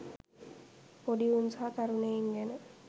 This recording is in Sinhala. පොඩි උන් සහ තරුණයින් ගැන